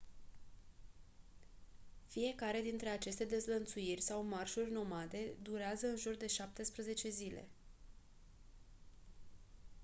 fiecare dintre aceste dezlănțuiri sau marșuri nomade durează în jur de 17 zile